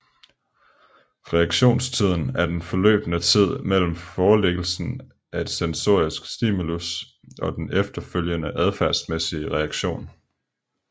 Reaktionstiden er den forløbne tid mellem forelæggelsen af et sensorisk stimulus og den efterfølgende adfærdsmæssige reaktion